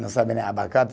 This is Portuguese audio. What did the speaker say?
Não sabia nem abacate.